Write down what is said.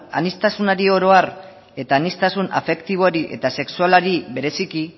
aniztasunari oro har eta aniztasun afektibori eta sexualari bereziki